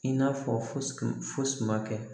I n'a fɔ fosi ma kɛ